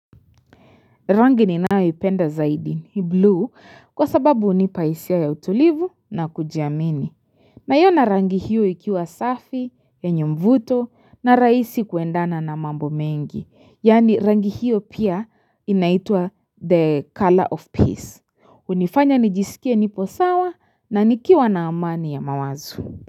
Rangi ni nayo ipenda zaidi ni blue kwa sababu hunipahisia ya utulivu na kujiamini. Na iona rangi hiyo ikiwa safi yenye mvuto na rahisi kuendana na mambo mengi. Yani rangi hiyo pia inaitwa the color of peace. hUnifanya nijisikie niposawa na nikiwa na amani ya mawazo.